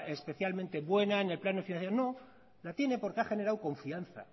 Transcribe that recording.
especialmente buena en el plan de financiación no la tiene porque ha generado confianza